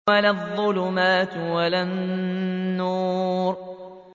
وَلَا الظُّلُمَاتُ وَلَا النُّورُ